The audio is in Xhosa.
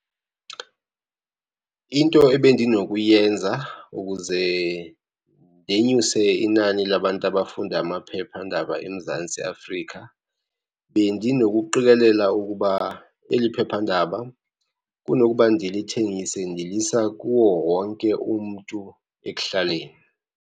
Into ebendinokuyenza ukuze ndenyuse inani labantu abafunda amaphephandaba eMzantsi Afrika, bendinokuqikelela ukuba eli phephandaba, kunokuba ndilithengise ndilisa kuwo wonke umntu ekuhlaleni.